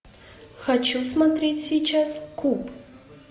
хочу смотреть сейчас куб